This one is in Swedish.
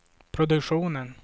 produktionen